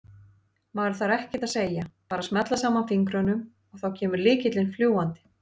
Maður þarf ekkert að segja, bara smella saman fingrunum og þá kemur lykillinn fljúgandi!